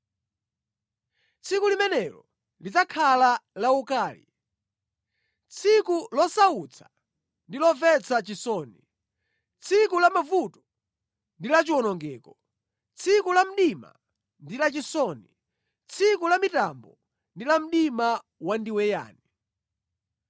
Tsiku limenelo lidzakhala la ukali, tsiku losautsa ndi lomvetsa chisoni, tsiku la mavuto ndi la chiwonongeko, tsiku la mdima ndi lachisoni, tsiku la mitambo ndi la mdima wandiweyani.